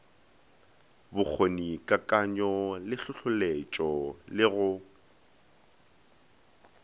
bokgonikakanyo le hlohloletšego le go